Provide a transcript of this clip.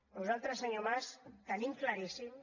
nosaltres senyor mas ho tenim claríssim